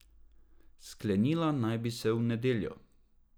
Sklenila naj bi se v nedeljo.